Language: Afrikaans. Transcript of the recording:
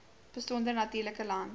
besonder natuurlike land